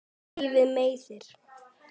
Og lífið meiðir.